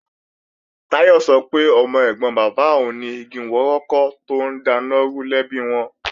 Táyọ̀ sọ pé ọmọ ẹ̀gbọ́n bàbá òun ni igi wọ́rọ́kọ́ tó ń daná rú lẹ́bi wọn